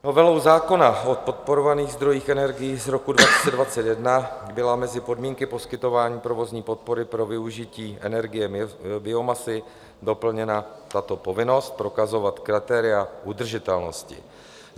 Novelou zákona o podporovaných zdrojích energií z roku 2021 byla mezi podmínky poskytování provozní podpory pro využití energie biomasy doplněna tato povinnost prokazovat kritéria udržitelnosti.